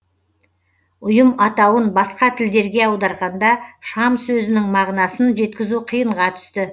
ұйым атауын басқа тілдерге аударғанда шам сөзінің мағынасын жеткізу қиынға түсті